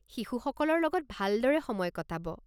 শিশুসকলৰ লগত ভালদৰে সময় কটাব।